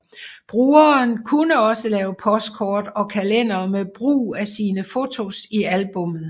Brugeren kunne også lave postkort og kalendere med brug af sine fotos i albummet